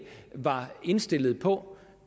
var indstillet på